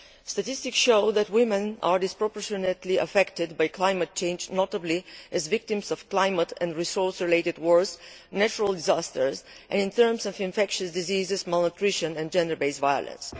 Statistics show that women are disproportionately affected by climate change, notably as victims of climate and resource related wars, natural disasters and in terms of infectious diseases, malnutrition and gender based violence.